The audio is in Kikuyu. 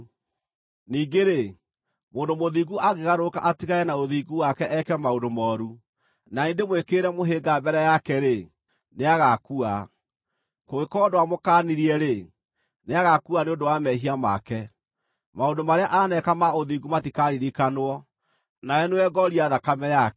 “Ningĩ-rĩ, mũndũ mũthingu angĩgarũrũka atigane na ũthingu wake eke maũndũ mooru, na niĩ ndĩmwĩkĩrĩre mũhĩnga mbere yake-rĩ, nĩagaakua. Kũngĩkorwo ndwamũkaanirie-rĩ, nĩagaakua nĩ ũndũ wa mehia make. Maũndũ marĩa aneeka ma ũthingu matikaaririkanwo, nawe nĩwe ngooria thakame yake.